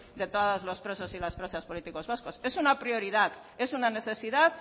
derechos amaitzen joan de todos los presos y las presas políticos vascos es una prioridad es una necesidad